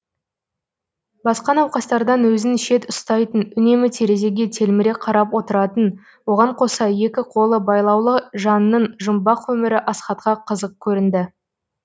басқа науқастардан өзін шет ұстайтын үнемі терезеге телміре қарап отыратын оған қоса екі қолы байлаулы жанның жұмбақ өмірі асхатқа қызық көрінді